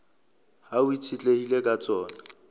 hao e itshetlehileng ka tsona